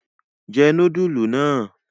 Jẹ núdúlù náà!